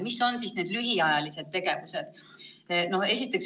Mis on need lühiajalised tegevused?